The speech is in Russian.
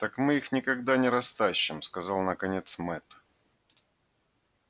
так мы их никогда не растащим сказал наконец мэтт